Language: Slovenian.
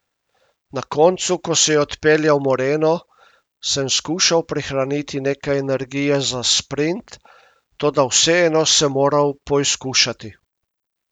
Na koncu, ko se je odpeljal Moreno, sem skušal prihraniti nekaj energije za sprint, toda vseeno sem moral poizkušati.